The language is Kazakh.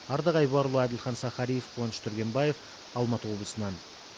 ардақ айбарұлы әділхан сахариев қуаныш түргенбаев алматы облысынан